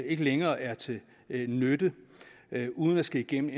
ikke længere er til nytte uden at skulle igennem